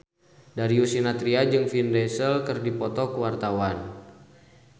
Darius Sinathrya jeung Vin Diesel keur dipoto ku wartawan